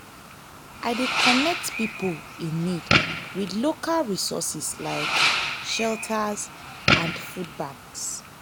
i dey connect pipo in need with local resources like shelters and food banks.